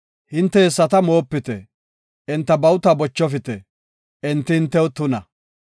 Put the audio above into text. Hinte hessata moopite; enta bawuta bochofite; enti hintew tuna.